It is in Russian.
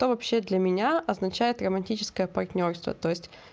то вообще для меня означает романтическая партнёрство то-есть